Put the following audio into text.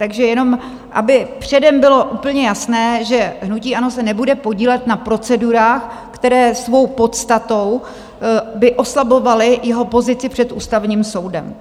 Takže jen aby předem bylo úplně jasné, že hnutí ANO se nebude podílet na procedurách, které svou podstatou by oslabovaly jeho pozici před Ústavním soudem.